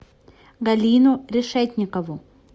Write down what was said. галину решетникову